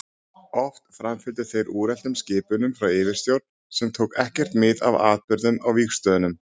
Oft framfylgdu þeir úreltum skipunum frá yfirstjórn sem tók ekkert mið af atburðum á vígstöðvunum.